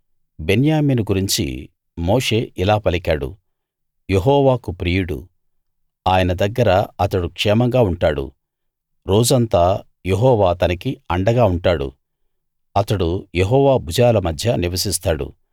బెన్యామీను గురించి మోషే ఇలా పలికాడు యెహోవాకు ప్రియుడు ఆయన దగ్గర అతడు క్షేమంగా ఉంటాడు రోజంతా యెహోవా అతనికి అండగా ఉంటాడు అతడు యెహోవా భుజాల మధ్య నివసిస్తాడు